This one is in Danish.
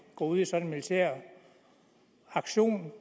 går ud i sådan en militær aktion